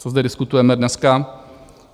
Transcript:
Co zde diskutujeme dneska?